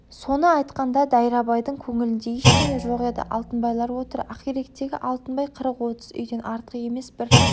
соны айтқанда дайрабайдың көңілінде ештеңе жоқ еді алтынбайлар отыр ақиректегі алтынбай қырық-отыз үйден артық емес бір